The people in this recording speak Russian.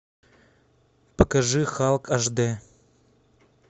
покажи халк аш д